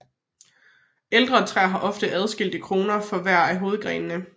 Ældre træer har ofte adskilte kroner for hver af hovedgrenene